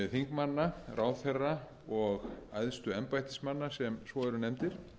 þingmanna ráðherra og æðstu embættismanna sem svo eru nefndir